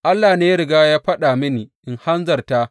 Allah ne ya riga ya faɗa mini in hanzarta.